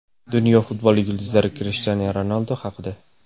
Dunyo futboli yulduzlari Krishtianu Ronaldu haqida.